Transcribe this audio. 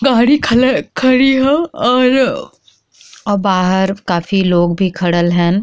बहरी खलल खाड़ी ह और बाहर काफी लोग खड़ल हन।